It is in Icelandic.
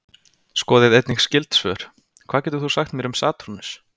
Skoðið einnig skyld svör: Hvað getur þú sagt mér um Satúrnus?